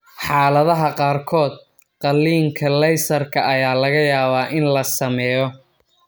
Xaaladaha qaarkood, qaliinka laysarka ayaa laga yaabaa in la sameeyo.